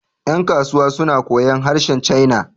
yankasuwa suna koyon harshen china